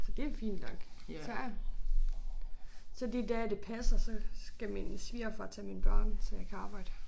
Så det jo fint nok så så de dage det passer så skal min svigerfar tage mine børn så jeg kan arbejde